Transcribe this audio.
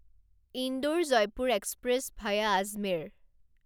Indore Jaipur express via Ajmer